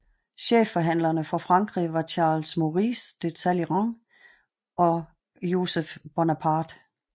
Chefforhandlere for Frankrig var Charles Maurice de Talleyrand og Joseph Bonaparte